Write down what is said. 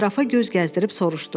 Ətrafa göz gəzdirib soruşdu.